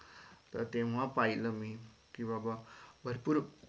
त ते म पाहिलं मी कि बाबा भरपूर